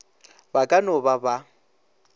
ba ka no ba ba